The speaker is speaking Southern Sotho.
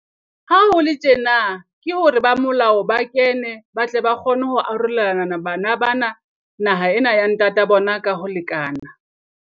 Ha ho le tjena, ke hore ba molao ba kene, ba tle ba kgone ho arolelana bana bana naha ena ya ntata bona ka ho lekana.